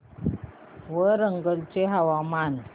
वरंगल चे हवामान